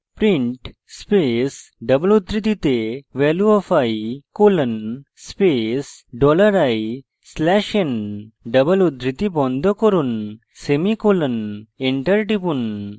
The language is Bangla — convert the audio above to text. print space double উদ্ধৃতিতে value of i colon space dollar i slash n double উদ্ধৃতি বন্ধনী বন্ধ করুন semicolon